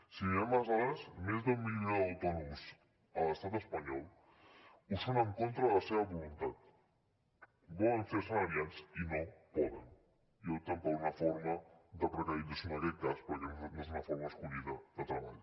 si mirem les dades més d’un milió d’autònoms a l’estat espanyol ho són en contra de la seva voluntat volen ser assalariats i no poden i opten per una forma de precarització en aquest cas perquè no és una forma escollida de treball